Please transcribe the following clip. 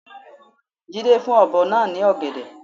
Jídé fún ọ̀bọ náa ní ògèdè